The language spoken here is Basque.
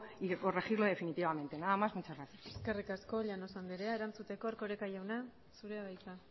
y de corregirlo definitivamente nada más muchas gracias eskerrik asko llanos anderea erantzuteko erkoreka jauna zurea da hitza